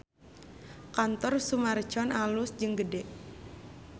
Kantor Summarecon alus jeung gede